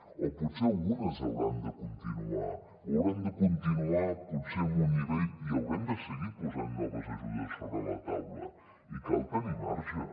o potser algunes hauran de continuar o haurem de continuar potser amb un nivell i haurem de seguir posant noves ajudes sobre la taula i cal tenir marge